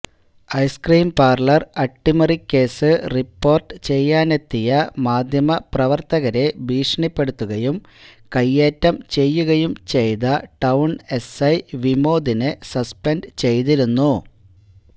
ice cream parlour അട്ടിമറികേസ് report ചെയ്യാനെത്തിയ മാധ്യമപ്രവര്ത്തകരെ ഭീഷണിപ്പെടുത്തുകയും കയ്യേറ്റം ചെയ്യുകയും ചെയ്ത ടൌണ് എസ്ഐ വിമോദിനെ സസ്പെന്റ് ചെയ്തിരുന്നു